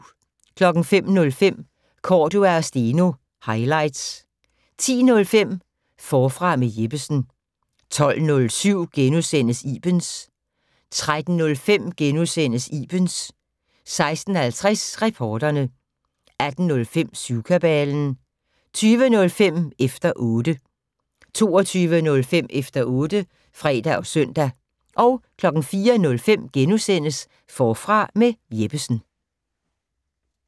05:05: Cordua & Steno - highlights 10:05: Forfra med Jeppesen 12:07: Ibens * 13:05: Ibens * 16:50: Reporterne 18:05: Syvkabalen 20:05: Efter 0tte 22:05: Efter otte (fre og søn) 04:05: Forfra med Jeppesen *